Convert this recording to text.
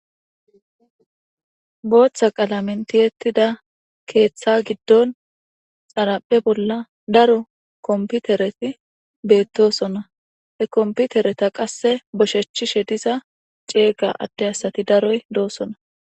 booththa qalamen tiyettida keeththa giddon xaraphe bolla daro komputereti beettosona he komputereta qasse boshechishe diza ceega adde asati daroy doosona